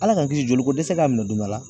Ala k'an kisi joliko dɛsɛ k'a minɛ don dɔ la